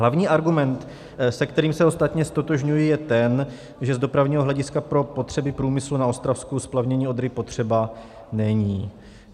Hlavní argument, se kterým se ostatně ztotožňuji, je ten, že z dopravního hlediska pro potřeby průmyslu na Ostravsku splavnění Odry potřeba není.